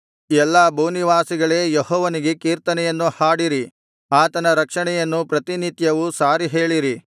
ಎಲ್ಲಾ ಭೂನಿವಾಸಿಗಳೇ ಯೆಹೋವನಿಗೆ ಕೀರ್ತನೆಯನ್ನು ಹಾಡಿರಿ ಆತನ ರಕ್ಷಣೆಯನ್ನು ಪ್ರತಿನಿತ್ಯವೂ ಸಾರಿಹೇಳಿರಿ